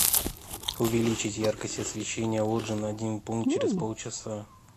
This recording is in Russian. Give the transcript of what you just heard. увеличить яркость освещения лоджии на один пункт через полчаса